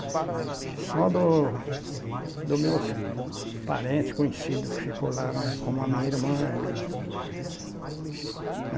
Só do do meus parentes conhecidos que ficaram lá, né, como a minha irmã e.